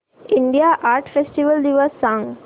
India art festival दिवस सांग